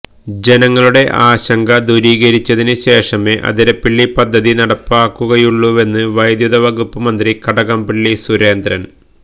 ജനങ്ങളുടെ ആശങ്ക ദൂരീകരിച്ചതിന് ശേഷമേ അതിരപ്പിളളി പദ്ധതി നടപ്പാക്കുകയുളളൂവെന്ന് വൈദ്യുത വകുപ്പ് മന്ത്രി കടകംപളളി സുരേന്ദ്രന്